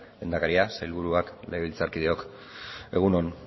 lehendakaria sailburuak legebiltzarkideok egun on